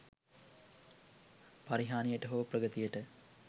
පරිහානියට හෝ ප්‍රගතියට